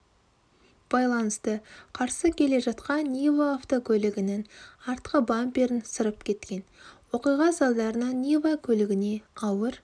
байланысты қарсы келе жатқан нива автокөлігінің артқы бамперін сырып кеткен оқиға салдарынан нива көлігіне ауыр